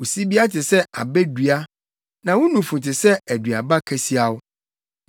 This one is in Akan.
Wo sibea te sɛ abɛ dua, na wo nufu te sɛ aduaba kasiaw.